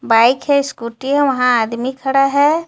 Bike है scooty हे वहां आदमी खड़ा है.